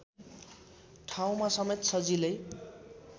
ठाउँमा समेत सजिलै